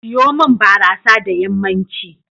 Seyo min barasa da yammanci.